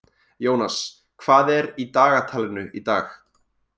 Jónas, hvað er í dagatalinu í dag?